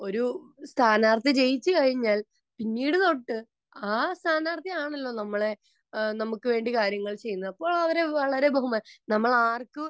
ഒരു സ്ഥാനാർഥി ജയിച്ചു കഴിഞ്ഞാൽ പിന്നീട് അങ്ങൊട്ടു ആ സ്ഥാനാർഥി ആണല്ലോ നമ്മളെ നമുക്ക് വേണ്ടി കാര്യങ്ങൾ ചെയ്യുന്നത് . അപ്പോൾ അവരെ വളരെ ബഹുമാനിക്കണം . നമ്മൾ ആർക്കും